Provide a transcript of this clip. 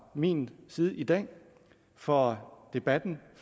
min side i dag for debatten